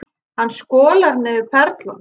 Hann skolar niður perlunum.